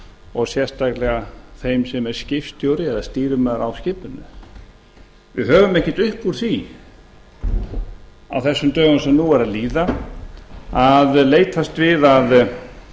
og sérstaklega þann sem er skipstjóri eða stýrimaður skipinu við höfum ekkert upp úr því á þessum dögum sem nú eru að líða að leitast við að